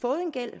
fået en gæld